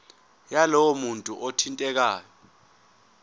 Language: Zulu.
yalowo muntu othintekayo